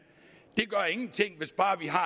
det gør ingenting hvis bare vi har